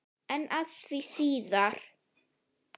En að því síðar.